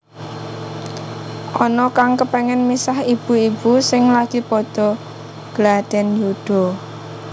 Ana kang kepengin misah ibu ibu sing lagi padha gladhen yuda